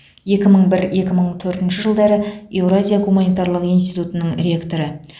екі мың бір екі мың төртінші жылдары еуразия гуманитарлық институтының ректоры